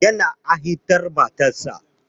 Yana ha'intar matarsa.